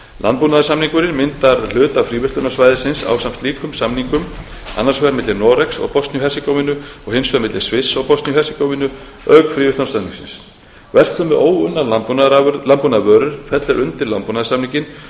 landbúnaðarsamningurinn myndar hluta fríverslunarsvæðisins ásamt slíkum samningum annars vegar milli noregs og bosníu og hersegóvínu og hins vegar milli sviss og bosníu og hersegóvínu auk fríverslunarsamningsins verslun með óunnar landbúnaðarvörur fellur undir landbúnaðarsamninginn